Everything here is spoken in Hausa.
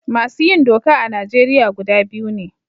Masu yin doka a Najeriya gida biyu ne.